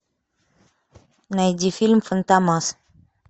найди фильм фантомас